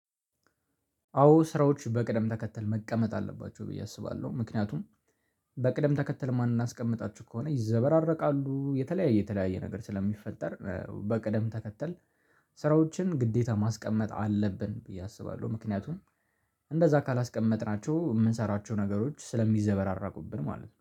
አዎ ስራዎች በቅደም ተከተል መቀመጥ አለባቸው። ብዬ አስባለሁ። ምክንያቱም በቅደም ተከተል የማናስቀምጣችሁ ከሆነ ይዘበራረቃሉ የተለያየ የተለያየ ነገር ስለሚፈጠር በቅደም ተከተል ስራዎችን ግዴታ ማስቀመጥ አለብን ብዬ አስባለሁ። ምክንያቱም እንደዛ ካላስቀመጥናቸው የምንሰራቸው ነገሮች ስለሚዘበራረቁብን ማለት ነው።